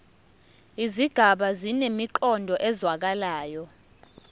izigaba zinemiqondo ezwakalayo